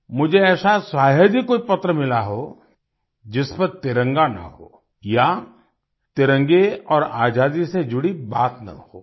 मुझे ऐसा शायद ही कोई पत्र मिला हो जिस पर तिरंगा न हो या तिरंगे और आज़ादी से जुड़ी बात न हो